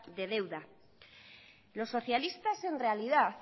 de deuda los socialistas en realidad